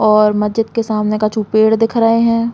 और मस्जिद के सामने कछु पेड़ दिख रहे हैं।